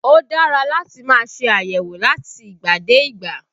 Ó dára láti máa ṣe àyẹ̀wò láti ìgbà dé ìgbà